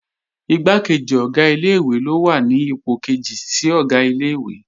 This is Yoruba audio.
Igbákejì Ọ̀gá ilé-ìwé ló wà ní ipò kejì sí Ọ̀gá ilé-ìwé